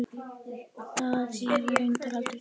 Það hefur reyndar aldrei gerst.